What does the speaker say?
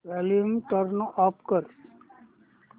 volume turn off कर